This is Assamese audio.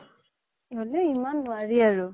হ'লেও ইমান নোৱাৰি আৰু